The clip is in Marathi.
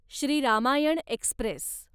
श्री रामायण एक्स्प्रेस